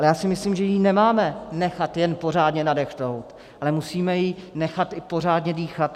Ale já si myslím, že ji nemáme nechat jen pořádně nadechnout, ale musíme ji nechat i pořádně dýchat.